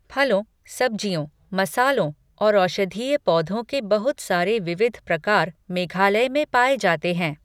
फलों, सब्जियों, मसालों और औषधीय पौधों के बहुत सारे विविध प्रकार मेघालय में पाए जाते हैं।